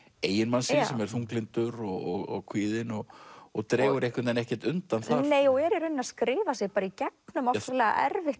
eiginmanns síns sem er þunglyndur og kvíðinn og og dregur einhvern veginn ekkert undan þar nei og er í rauninni að skrifa sig í gegnum ofsalega erfitt